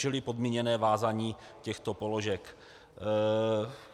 Čili podmíněné vázání těchto položek.